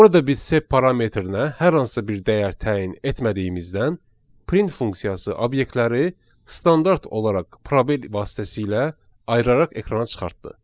Burada biz sep parametrinə hər hansı bir dəyər təyin etmədiyimizdən print funksiyası obyektləri standart olaraq probel vasitəsilə ayıraraq ekrana çıxartdı.